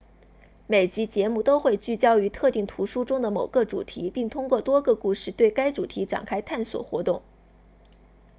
每集节目都会聚焦于特定图书中的某个主题并通过多个故事对该主题展开探索活动